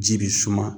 Ji bi suma